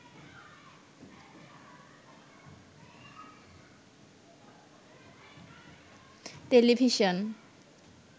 television